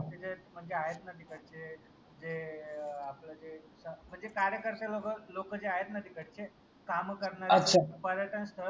ते जे म्हनजे आहेत ना तिकडचे जे आपल जे म्हनजे कार्यकर्ते लोक जे आहेत ना तिकडचे काम करनारे पर्यटन स्थळ